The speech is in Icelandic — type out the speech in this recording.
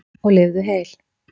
Og lifðu heil!